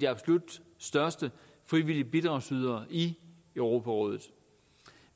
de absolut største frivillige bidragsydere i europarådet